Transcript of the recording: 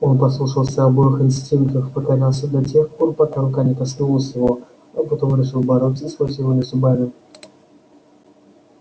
он послушался обоих инстинктов покорялся до тех нор пока рука не коснулась его а потом решил бороться и схватил её зубами